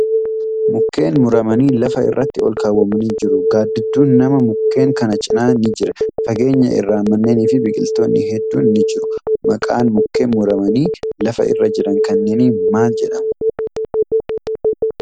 Mukkeen muramanii lafa irratti olkaawwamanii jiru. Gaaddidduun namaa mukkeen kana cinaa ni jira. Fageenya irraa manneeni fi biqiltootni hedduun ni jiru. Maqaan mukkeen muramanii lafa irra jiran kanneenii maal jedhama?